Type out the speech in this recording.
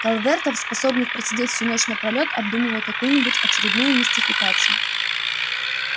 калвертов способных просидеть всю ночь напролёт обдумывая какую-нибудь очередную мистификацию